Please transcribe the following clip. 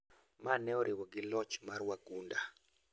maneoriwo gi loch mar wagunda